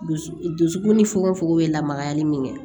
Dusu dusukun ni fokon fokon bɛ lamagali min kɛ